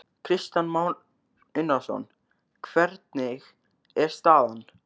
Kristján Már Unnarsson: Hvernig er staðan?